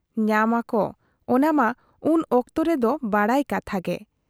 ᱧᱟᱢᱟ ᱠᱚ ᱚᱱᱟ ᱢᱟ ᱩᱱ ᱚᱠᱛᱚ ᱨᱮᱫᱚ ᱵᱟᱰᱟᱭ ᱠᱟᱛᱷᱟ ᱜᱮ ᱾